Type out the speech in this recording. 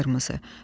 Alqırmızı.